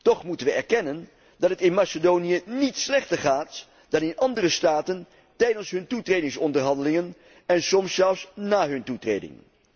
Toch moeten we erkennen dat het in Macedonië niet slechter gaat dan in andere staten tijdens hun toetredingsonderhandelingen en soms zelfs na hun toetreding.